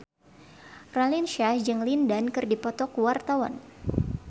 Raline Shah jeung Lin Dan keur dipoto ku wartawan